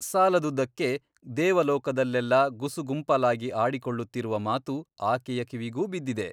ಸಾಲದುದ್ದಕ್ಕೆ ದೇವಲೋಕದಲ್ಲೆಲ್ಲಾ ಗುಸುಗುಂಪಾಲಾಗಿ ಆಡಿಕೊಳ್ಳುತ್ತಿರುವ ಮಾತು ಆಕೆಯ ಕಿವಿಗೂ ಬಿದ್ದಿದೆ.